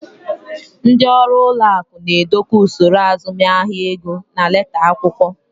Ndị ọrụ ụlọ akụ na-edekọ usoro azụmahịa ego na leta akwụkwọ.